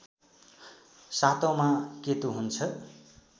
सातौँमा केतु हुन्छ